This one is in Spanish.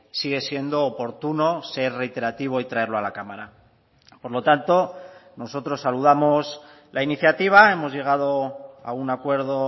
sigue siendo oportuno ser reiterativo y traerlo a la cámara por lo tanto nosotros saludamos la iniciativa hemos llegado a un acuerdo